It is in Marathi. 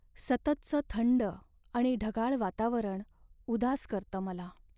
सततचं थंड आणि ढगाळ वातावरण उदास करतं मला.